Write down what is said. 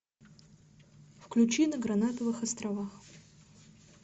включи на гранатовых островах